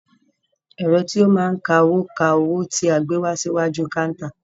Ẹ̀rọ tí o máa n ka owó, ka owó tí a gbé wá síwájú káántà.